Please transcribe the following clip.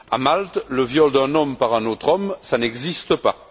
À Malte, le viol d'un homme par un autre homme, ça n'existe pas.